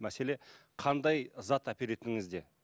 мәселе қандай зат әперетініңізде